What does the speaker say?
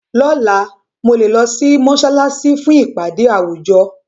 Lọ́la, mo lè lọ sí mọ́ṣáláṣí fún ìpàdé àwùjọ.